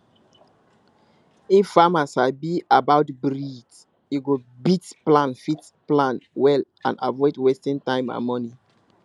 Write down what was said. if farmer sabi about breed e go fit plan fit plan well and avoid wasting time and money